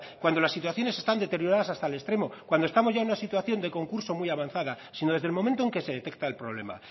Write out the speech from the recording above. cuando las situaciones están deterioradas hasta el extremo cuando estamos ya en una situación de concurso muy avanzada sino desde el momento en que se detecta el problema